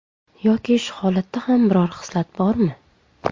Yoki shu holatda ham biror xislat bormi?